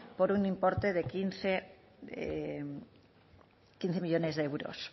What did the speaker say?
por un importe de quince millónes de euros